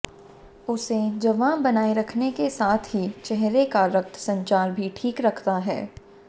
उसे जवां बनाए रखने के साथ ही चेहरे का रक्त संचार भी ठीक रखता है